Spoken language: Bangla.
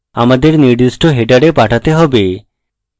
আমাদের নির্দিষ্ট হেডারে পাঠাতে হবে